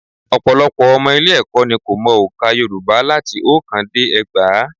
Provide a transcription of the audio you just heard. Ọ̀pọ̀lọpọ̀ ọmọ ilé-ẹ̀kọ́ ni kò mọ ọ̀ǹkà Yorùbá láti oókán dé ẹgbàá